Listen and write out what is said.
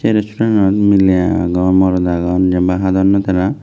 restaurant nanot mili agon morot agon jin pai hadonnoi tara.